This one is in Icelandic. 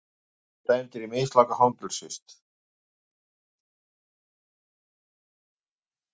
Þeir voru dæmdir í mislanga fangelsisvist